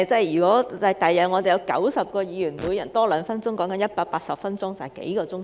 如果將來有90位議員，每人多說兩分鐘，便會增加180分鐘，即是數個小時。